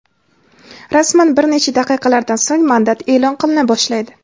Rasman bir necha daqiqalardan so‘ng mandat eʼlon qilina boshlaydi!.